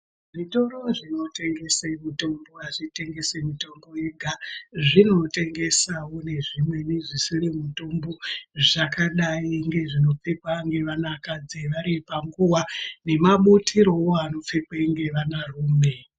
Zvitoro zvinotengese mitombo azvitengesi mitombo yega zvinotengesawo nezvimweni zvisiri mitombo zvakadai ngezvinopfekwa nevanakadzi varipanguva nemabutiro anopfekwawo ngevanarume.